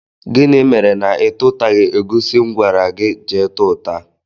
Gịnị mere na itutaghi egusi mụ gwara gị jee túta?